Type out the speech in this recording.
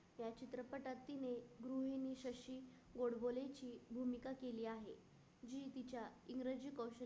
गोडबोले ची भूमिका केली आहे. जी तिच्या इंग्रजी कौशल्य